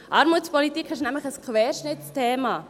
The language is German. Armutspolitik ist nämlich ein Querschnittsthema.